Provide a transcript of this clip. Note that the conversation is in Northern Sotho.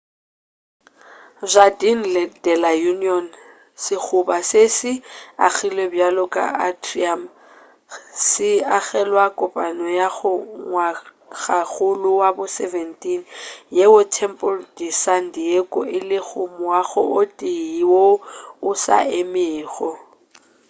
jardín de la unión sekgoba se se agilwe bjalo ka atrium se agelwa kopano ya ngwagakgolo wa bo 17 yeo templo de san diego e lego moago o tee woo o sa emego